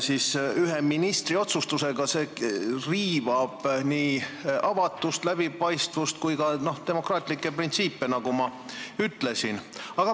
Sellist institutsiooni kujutab endast ka nõukogu, kus on tegemist ikkagi avatud protseduuride ja eri osapoolte osalusega.